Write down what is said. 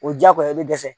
O diyagoya i bɛ dɛsɛ